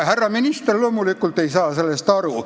Härra minister loomulikult ei saa sellest aru.